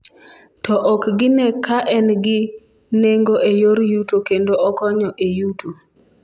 to ok gine ka en gi nengo e yor yuto kendo okonyo e yuto